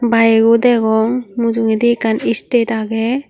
bige o degong mujungendi ekkkan istet agey.